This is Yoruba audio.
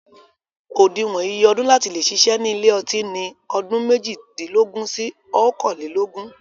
Òdiwọn iye ọdún láti leè ṣiṣẹ́ ni ilé ọtí ni ọdún méjìdínlógún sí ọkànlelógún